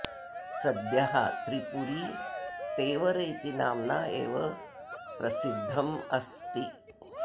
सद्यः त्रिपुरी तेवर इति नाम्ना एव प्रसिद्धम् अस्ति